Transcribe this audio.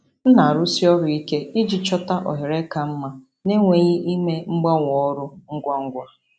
M na-arụsi ọrụ ike iji chọta ohere ka mma na-enweghị ime mgbanwe ọrụ ngwa ngwa.